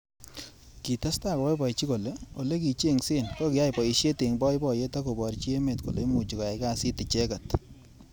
Kitestai koboiboji kole olekichenhse kokiyai boishet eng boiboyet ak koborji emet kole imuchi koyai kasit icheket.